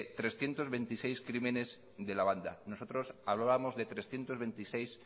trescientos veintiséis crímenes de la banda nosotros hablábamos de trescientos veintiséis